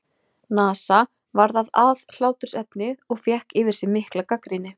NASA varð að aðhlátursefni og fékk yfir sig mikla gagnrýni.